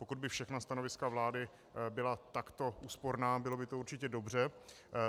Pokud by všechna stanoviska vlády byla takto úsporná, bylo by to určitě dobře.